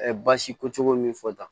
basi ko cogo min fɔ tan